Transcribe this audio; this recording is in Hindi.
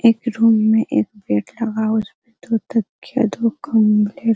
एक रूम में एक बेड लगा हुआ है उसमे दो तकिया दो कम्बले --